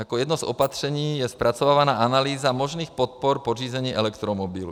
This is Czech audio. Jako jedno z opatření je zpracovávána analýza možných podpor pořízení elektromobilů.